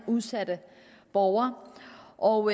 udsatte borgere og